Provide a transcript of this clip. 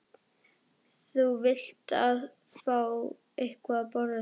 Þú vilt fá eitthvað að borða sagði hún.